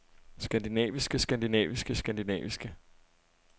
skandinaviske skandinaviske skandinaviske